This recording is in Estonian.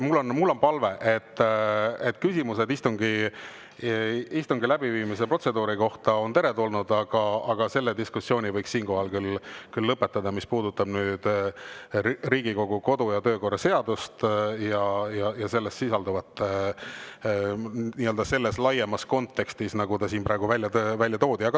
Mul on tõesti palve: küsimused istungi läbiviimise protseduuri kohta on teretulnud, aga selle diskussiooni võiks siinkohal küll lõpetada, mis puudutab Riigikogu kodu‑ ja töökorra seadust ja selles sisalduvat nii-öelda laiemas kontekstis, nagu see siin praegu on välja toodud.